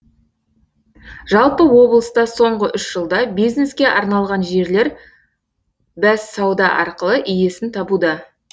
жалпы облыста соңғы үш жылда бизнеске арналған жерлер бәссауда арқылы иесін табуда